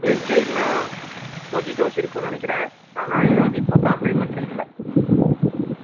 milkshake னா mojitos ல இருக்கும் நினைக்கிறன் ஆனா அது இப்ப compliment ல இல்லை